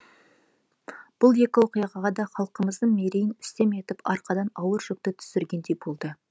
бұл екі оқиға да халқымыздың мерейін үстем етіп арқадан ауыр жүкті түсіргендей болды